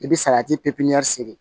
I bɛ salati pipiniyɛri sere